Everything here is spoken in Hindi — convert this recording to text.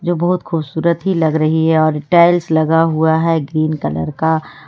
ये बहोत खूबसूरत ही लग रही है और टाइल्स लगा हुआ है ग्रीन कलर का।